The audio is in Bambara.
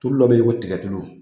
Tulu dɔ be yen ko tigɛtulu